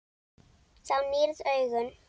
Þú nýrð augun.